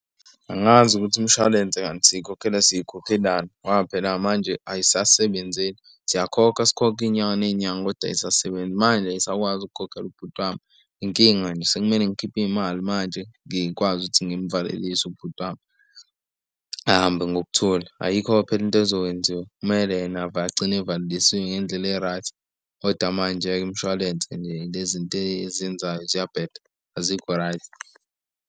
Angazi ukuthi umshwalense kanti siyikhokhela sikhokhelana ngoba phela manje ayisasebenzi, siyakhokha sikhokhe inyanga nenyanga kodwa ayisasebenzi. Manje ayisakwazi ukukhokhela ubhuti wami. Inkinga nje sekumele ngikhiphe imali manje ngikwazi ukuthi ngimvalelise ubhuti wami ahambe ngokuthula. Ayikho-ke phela into ezokwenziwa kumele yena agcine evalelisiwe ngendlela e-right kodwa manje-ke imishwalense nje lezi nto ezenzayo ziyabheda, azikho right.